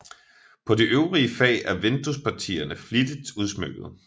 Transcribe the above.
På de øvrige fag er vinduespartierne flittigt udsmykkede